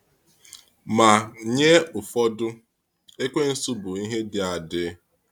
Ma, nye ụfọdụ, Ekwensu bụ ihe dị adị.